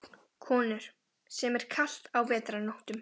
Konur, sem er kalt á vetrarnóttum.